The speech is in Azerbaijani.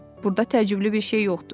Burada təəccüblü bir şey yoxdur.